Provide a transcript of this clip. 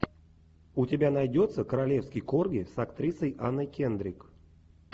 у тебя найдется королевский корги с актрисой анна кендрик